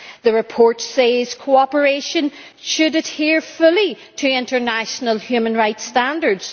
The report says cooperation should adhere fully to international human rights standards.